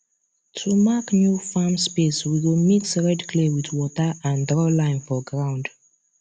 to mark new farm space we go mix red clay with water and draw line for ground